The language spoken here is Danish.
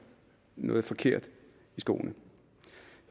noget forkert i skoene